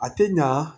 A tɛ ɲa